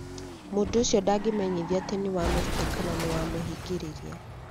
Mũndũ ũcio ndangĩmenyithio atĩ nĩ wamũruta kana nĩ wamũhingĩrĩria.